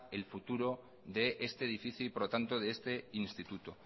el futuro de este edificio y por lo tanto de este instituto